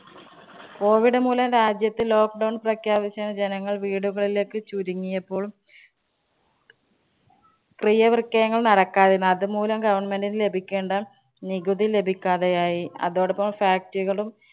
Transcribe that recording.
COVID മൂലം രാജ്യത്ത് lockdown പ്രഖ്യാപിച്ചതിനു ജനങ്ങള്‍ വീടുകളിലേക്ക് ചുരുങ്ങിയപ്പോള്‍ ക്രിയവിക്രയങ്ങള്‍ നടക്കാതിരുന്നു. അതു മൂലം government നു ലഭിക്കേണ്ട നികുതി ലഭിക്കാതെയായി. അതോടൊപ്പം factory കളും